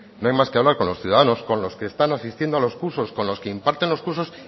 no hay más que hablar con los ciudadanos con los que están asistiendo a los cursos con los que imparten los cursos